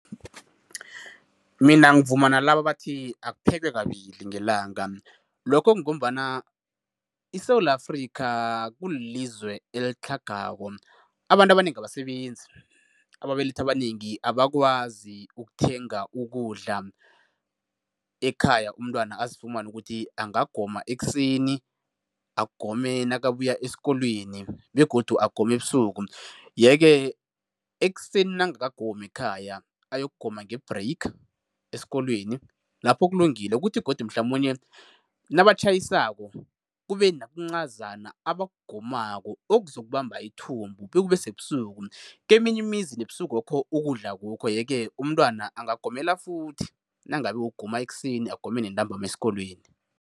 Mina ngivuma nalaba abathi akuphekwe kabili ngelanga. Lokho kungombana iSewula Afrika kulilizwe elitlhagako. Abantu abanengi abasebenzi, ababelethi abanengi abakwazi ukuthenga ukudla ekhaya, umntwana azifumane ukuthi angagoma ekuseni, agome nakabuya esikolweni begodu agome ebusuku, yeke ekuseni nangakagomi ekhaya ayokugoma nge-break esikolweni lapho kulungile. Kuthi godu mhlamunye nabatjhayisako, kube nokuncazana abakugomako, okuzokubamba ithumbu bekube sebusuku. Keminye imizi nebusukokho ukudla akukho, yeke umntwana angagomela futhi nangabe ugoma ekuseni, agome nentambama esikolweni.